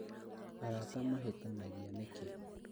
Arata mahĩtanagia nĩkĩ?